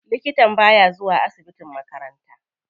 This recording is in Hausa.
Likatan baya zuwa asibitin makaranta.